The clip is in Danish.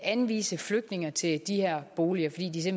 anvise flygtninge til de her boliger fordi de